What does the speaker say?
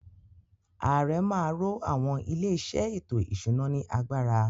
Ààrẹ má a ro àwọn “ ilé-iṣẹ́ ètò-ìṣúná ” ní agbára.